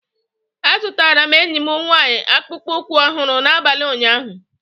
Azụtara m enyi m nwanyị akpụkpọ ụkwụ ọhụrụ n'abalị ụnyaahụ